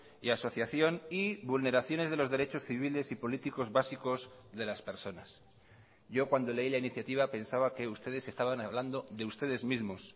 y asociación y vulneraciones de los derechos civiles y políticos básicos de las personas yo cuando leí la iniciativa pensaba que ustedes estaban hablando de ustedes mismos